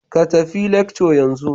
Ka tafi lecture yanzu